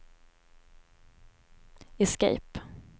escape